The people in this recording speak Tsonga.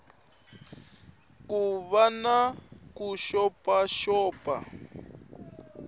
ku va xi xopaxopiwile no